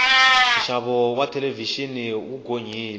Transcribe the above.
nxavo wa thelevixini wu gonyile